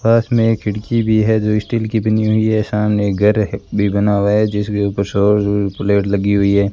पास मे एक खिड़की भी है जो स्टील की बनी हुई है सामने एक घर भी बना हुआ है जिसके ऊपर सौर प्लेट लगी हुई है।